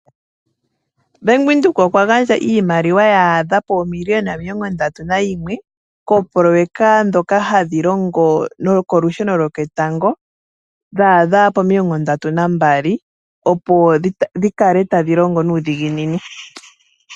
Ombaanga yoBank Windhoek oya gandja iimaliwa ya adha poomiliyona omilongo ndatu nayimwe koopoloyeka ndhoka hadhi longo olusheno lwoketango, dha adha pomilongo ndatu nambali, opo dhi kale tadhi longo nuudhigini.